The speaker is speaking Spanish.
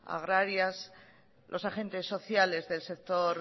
agrarias los agentes sociales del sector